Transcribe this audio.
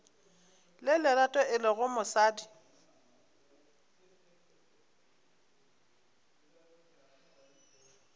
le lerato e lego mosadi